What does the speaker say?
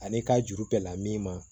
Ani ka juru bɛ la min ma